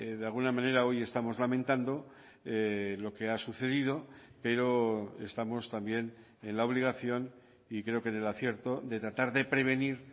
de alguna manera hoy estamos lamentando lo que ha sucedido pero estamos también en la obligación y creo que en el acierto de tratar de prevenir